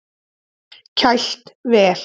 Kælt vel.